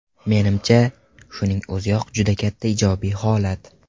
Menimcha, shuning o‘ziyoq juda katta ijobiy holat.